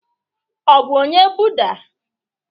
Ọ bụ onye Buddha?